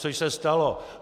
Což se stalo.